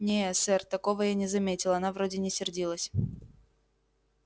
не сэр такого я не заметил она вроде не сердилась